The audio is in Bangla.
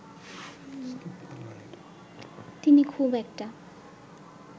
তিনি খুব একটা